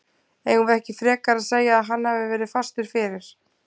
Eigum við ekki frekar að segja að hann hafi verið fastur fyrir?